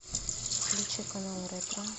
включи канал ретро